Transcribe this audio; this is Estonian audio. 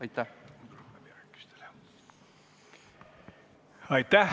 Aitäh!